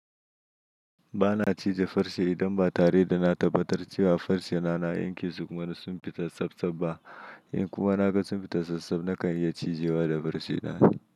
Ba na cije farce idan ba tare da na tabbatar cewa farce na, na yanke su kuma duk sun fita tsabtsab ba. In kuma na ga sun fita tsabtsab nakan iya cije wa da farce na.